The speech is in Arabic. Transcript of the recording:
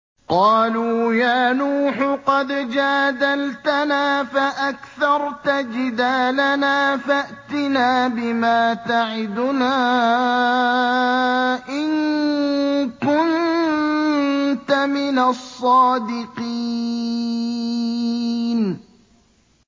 قَالُوا يَا نُوحُ قَدْ جَادَلْتَنَا فَأَكْثَرْتَ جِدَالَنَا فَأْتِنَا بِمَا تَعِدُنَا إِن كُنتَ مِنَ الصَّادِقِينَ